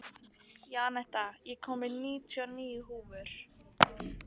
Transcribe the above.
Jenetta, ég kom með níutíu og níu húfur!